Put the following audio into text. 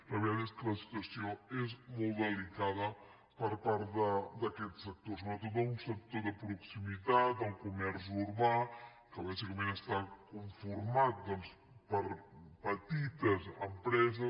la veritat és que la situació és molt delicada per part d’aquest sector sobretot d’un sector de proximitat el comerç urbà que bàsicament està conformat doncs per petites empreses